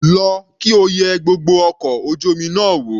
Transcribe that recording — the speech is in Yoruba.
Lọ kí o yẹ gbogbo ọkọ̀ ojú omi náà wò.